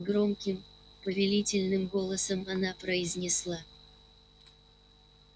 громким повелительным голосом она произнесла